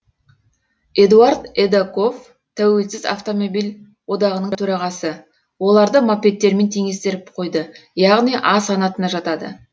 эдуард эдоков тәуелсіз автомобиль одағының төрағасы оларды мопедтермен теңестіріп қойды яғни а санатына жатады